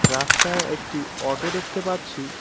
রাস্তায় একটি অটো দেখতে পাচ্ছি।